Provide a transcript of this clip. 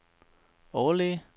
overlæge